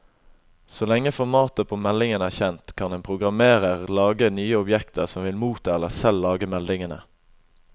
Så lenge formatet på meldingen er kjent, kan en programmerer lage nye objekter som vil motta eller selv lage meldingene.